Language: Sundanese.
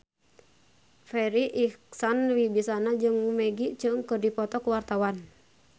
Farri Icksan Wibisana jeung Maggie Cheung keur dipoto ku wartawan